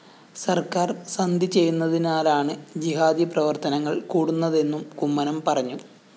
സര്‍ക്കാര്‍ സന്ധി ചെയ്യുന്നതിനാലാണ് ജിഹാദി പ്രവര്‍ത്തനങ്ങള്‍ കൂടുന്നതെന്നും കുമ്മനം പറഞ്ഞു